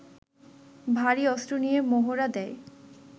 ভারী অস্ত্র নিয়ে মহড়া দেয়